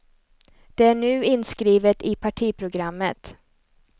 Det är nu inskrivet i partiprogrammet.